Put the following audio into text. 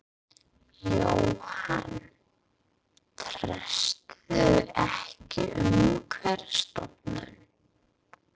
Jóhann: Treystirðu ekki Umhverfisstofnun?